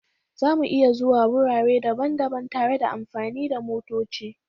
Za mu iya zuwa wurare daban-daban tare da amfani da motoci